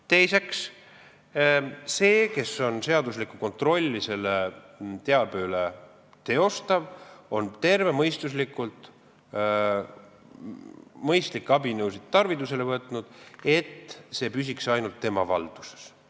Teiseks, see, kes teostab seaduslikku kontrolli selle teabe üle, on võtnud tervemõistuslikult tarvitusele mõistlikke abinõusid, et see teave püsiks ainult tema valduses.